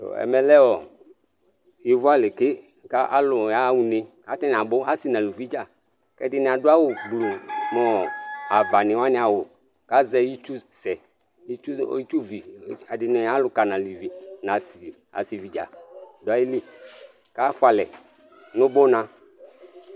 Ɛmɛ lɛ yovo alɩ ke kalʊ yaya ʊne, katanɩ abʊ asɩ nʊ ʊlʊvɩ dza Ɛdɩnɩ adʊ awʊ blʊ mʊ ava nu wanɩ awʊ, azɛ ɩtsʊsɛ, ɩtsʊvɩ Ɛdɩnɩ alʊka nasɩvɩ kafʊalɛ dza dʊ aƴɩlɩ kafʊalɛ nʊbʊna